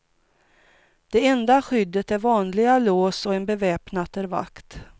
Det enda skyddet är vanliga lås och en beväpnad vakt.